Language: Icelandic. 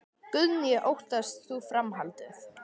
Guðný: Óttast þú framhaldið?